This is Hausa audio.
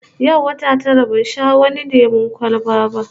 Yau wata tara ban sha wani lemon kwalba ba